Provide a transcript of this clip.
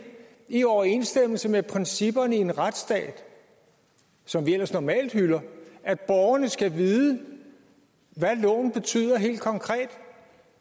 i overensstemmelse med principperne i en retsstat som vi ellers normalt hylder at borgerne skal vide hvad loven betyder helt konkret